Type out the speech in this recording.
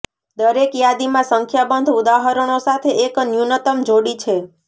દરેક યાદીમાં સંખ્યાબંધ ઉદાહરણો સાથે એક ન્યૂનતમ જોડી છે